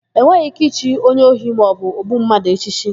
E nweghị íké ichi onye ohi maọbụ ogbu mmadụ echichi.